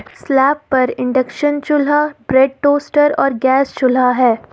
Slab पर induction चूल्हा bread toaster और गैस चूल्हा है।